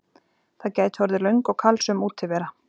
Það gæti orðið löng og kalsöm útivera.